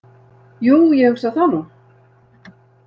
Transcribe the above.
Jú, ég hugsa það nú.